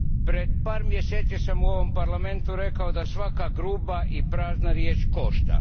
Pred par mjeseci sam u ovom Parlamentu rekao da svaka gruba i prazna riječ košta.